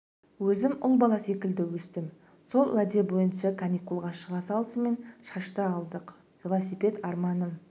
өзім ұл бала секілді өстім сол уәде бойынша каникулға шыға салысымен шашты алдық велосипед арманым